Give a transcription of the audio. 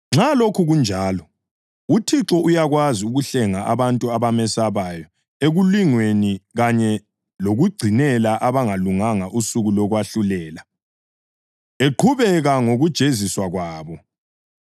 Nxa lokhu kunjalo, uThixo uyakwazi ukuhlenga abantu abamesabayo ekulingweni kanye lokugcinela abangalunganga usuku lokwahlulela, eqhubeka ngokujeziswa kwabo.